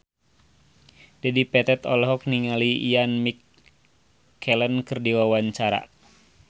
Dedi Petet olohok ningali Ian McKellen keur diwawancara